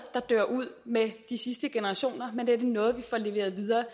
der dør ud med de sidste generationer men er noget vi får leveret videre